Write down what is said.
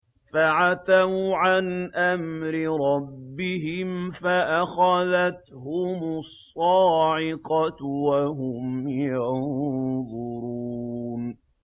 فَعَتَوْا عَنْ أَمْرِ رَبِّهِمْ فَأَخَذَتْهُمُ الصَّاعِقَةُ وَهُمْ يَنظُرُونَ